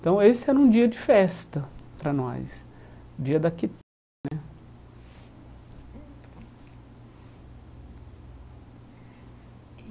Então, esse era um dia de festa para nós, dia da né.